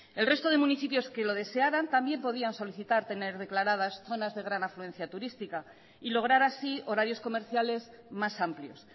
el resto de municipios que lo desearan también podían solicitar tener declaradas zonas de gran afluencia turística y lograr así horarios comerciales más amplios